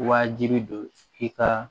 Wajibi don i ka